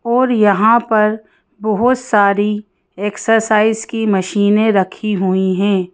और यहां पर बहुत सारी एक्सरसाइज की मशीनें रखी हुई हैं।